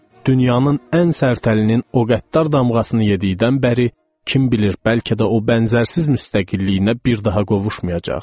Dünyanın ən sərt əlinin o qəddar damğasını yediyindən bəri kim bilir bəlkə də o bənzərsiz müstəqilliyinə bir daha qovuşmayacaq.